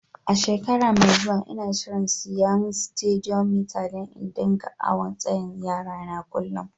Shekara mai zuwa, n'na shirin siya Stadiyomitar dan n'dinga awon tsayin yara na kullum.